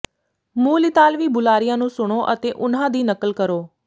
ਮੂਲ ਇਤਾਲਵੀ ਬੁਲਾਰਿਆਂ ਨੂੰ ਸੁਣੋ ਅਤੇ ਉਨ੍ਹਾਂ ਦੀ ਨਕਲ ਕਰੋ